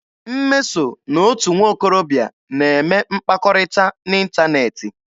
Mmeso na otu nwokorobịa na-eme mkpakọrịta n'ịntaneetị.